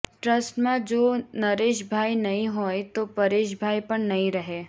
ટ્રસ્ટમાં જો નરેશભાઈ નહીં હોય તો પરેશભાઈ પણ નહીં રહે